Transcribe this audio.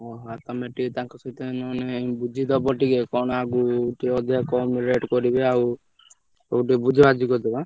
ଓହୋ ତମେ ଟିକେ ତାଙ୍କ ସହିତ ନହେଲେ ବୁଝିଦବ ଟିକେ କଣ ଆଗକୁ ଟିକେ ଅଧିକା କମ rate କରିବେ ଆଉ ତମେ ଟିକେ ବୁଝାବୁଝି କରିଦବ ଆଁ।